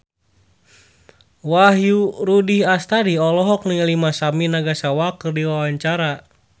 Wahyu Rudi Astadi olohok ningali Masami Nagasawa keur diwawancara